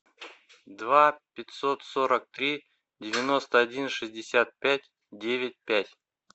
два пятьсот сорок три девяносто один шестьдесят пять девять пять